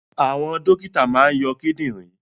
Àwọn dókítà máa ń yọ kidinrin